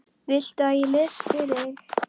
Viltu að ég lesi fyrir þig?